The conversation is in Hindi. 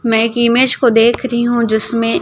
मैं इमेज को देख रही हूं जिसमें--